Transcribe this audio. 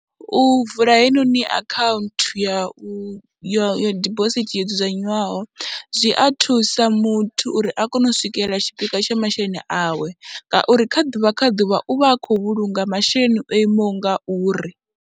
U vula heinoni akhaunthu ya u ya dibosithi yo dzudzanywaho, zwi a thusa muthu uri a kone u swikelela tshipikwa tsha masheleni awe ngauri kha ḓuvha kha ḓuvha u vha a khou vhulunga masheleni o imaho nga uri.